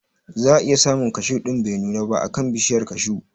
Za a iya samun kashu ɗin da bai nuna ba a kan bishiyar kashu